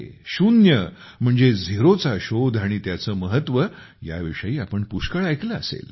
शून्य म्हणजे झिरोचा शोध आणि त्याचे महत्व ह्या विषयी आपण पुष्कळ ऐकले असेल